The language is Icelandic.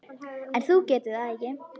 En þú getur það ekki.